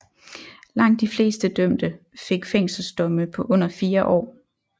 Langt de fleste dømte fik fængselsdomme på under fire år